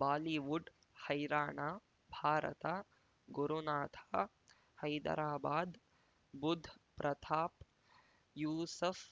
Bollywood ಹೈರಾಣ ಭಾರತ ಗುರುನಾಥ ಹೈದರಾಬಾದ್ ಬುಧ್ ಪ್ರತಾಪ್ ಯೂಸುಫ್